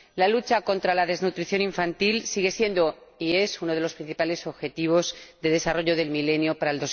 La lucha contra la desnutrición infantil es y sigue siendo uno de los principales Objetivos de Desarrollo del Milenio para